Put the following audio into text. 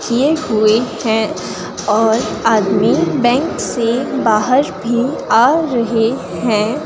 किए हुए हैं और आदमी बैंक से बाहर भी आ रहे हैं।